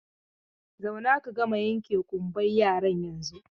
Zauna ka gama yanke ƙumban yaran yanzun!